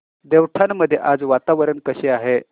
देवठाण मध्ये आज वातावरण कसे आहे